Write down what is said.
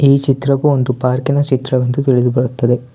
ಈ ಚಿತ್ರವೂ ಒಂದು ಪಾರ್ಕಿನ ಚಿತ್ರವೆಂದು ತಿಳಿದುಬರುತ್ತದೆ.